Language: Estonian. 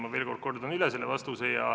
Ma veel kord kordan üle selle vastuse.